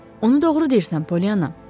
Onu doğru deyirsən, Polyanna.